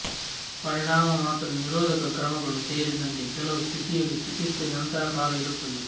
ಪರಿಣಾಮ ಮಾತ್ರ ನಿರೋಧಕ ಕ್ರಮಗಳು ಸೇರಿದಂತೆ ಕೆಲವು ಸ್ಥಿತಿಯಲ್ಲಿ ಚಿಕಿತ್ಸೆ ನಂತರ ಕಾಲ ಇರುತ್ತದೆ